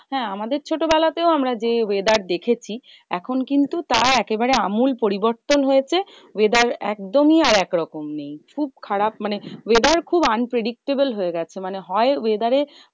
হ্যাঁ আমাদের ছোটবেলাতেও আমরা যে, weather দেখেছি এখন কিন্তু তা একেবারে আমূল পরিবর্তন হয়েছে। weather একদমই আর একরকম নেই। খুব খারাপ মানে weather খুব unpredictable হয়ে গেছে। মানে হয় weather এ